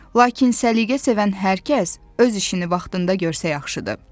Lakin səliqəsevən hər kəs öz işini vaxtında görsə yaxşıdır.